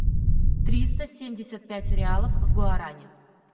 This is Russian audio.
триста семьдесят пять реалов в гуарани